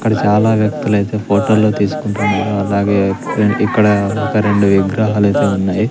ఇక్కడ చాలా వ్యక్తులైతే ఫోటోలు తీసుకుంటూ ఉన్నారు అలాగే ఇక్కడ ఒక రెండు విగ్రహాలైతే ఉన్నాయి.